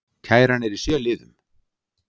Kæran er í sjö liðum